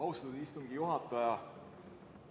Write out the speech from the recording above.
Austatud istungi juhataja!